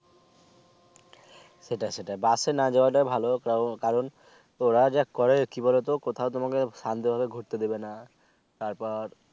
সেটাই সেটাই bus এ না যাওয়া টাই ভালো তাও কারণ ওরা যা করে কি বলোতো কোথাও তোমাকে শান্তি ভাবে ঘুরতে দিবে না তারপর